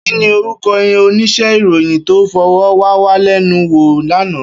Kini órúkò óníṣè iróyin tó fòròwàwálènúwó làná